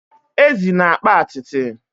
ezi na-akpa atịtị